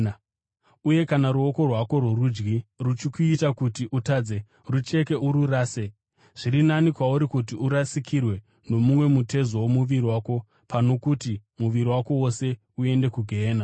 Uye kana ruoko rwako rworudyi ruchikuita kuti utadze, rucheke ururase. Zviri nani kwauri kuti urasikirwe nomumwe mutezo womuviri wako, pano kuti muviri wako wose uende kugehena.